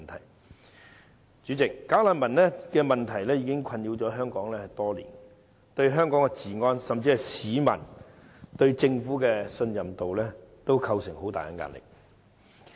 代理主席，"假難民"問題已困擾香港多年，對香港治安，甚至是市民對政府的信任度，均構成巨大壓力。